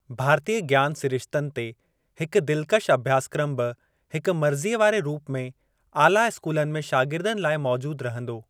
भारतीय ज्ञान सिरिश्तनि ते हिक दिलकश अभ्यासक्रम बि हिक मर्ज़ीअ वारे रूप में आला स्कूलनि में शागिर्दनि लाइ मौजूद रहंदो।